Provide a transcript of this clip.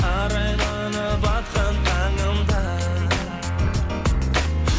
арайланып атқан таңым да